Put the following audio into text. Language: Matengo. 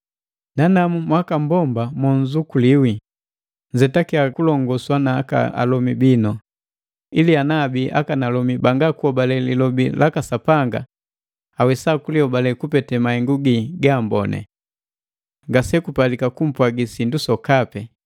Nanamu mwakammbomba mo nzukuliwi, nzetakia kulongoswa na aka alomi bii, ili ana abii akanalomi bangakuhobale lilobi laka Sapanga awesa kulihobale kupete mahengu gi gamboni. Ngasekupalika kumpwagi sindu sokape,